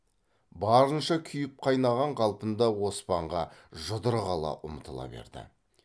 барынша күйіп қайнаған қалпында оспанға жұдырық ала ұмтыла берді